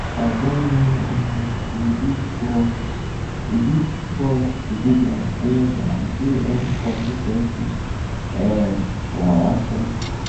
i don learn um to rebuild trust rebuild trust to dey transparent and to show um consis ten cy um for my actions